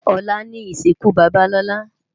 Olá ni isinkú baba Lola